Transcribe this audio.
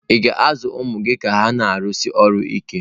Ị̀ ga-azụ ụmụ gị ka ha na-arụsi ọrụ ike?